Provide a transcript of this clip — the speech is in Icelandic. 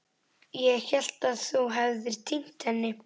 Ég hélt að þú hefðir týnt henni.